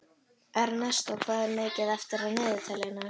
Ernestó, hvað er mikið eftir af niðurteljaranum?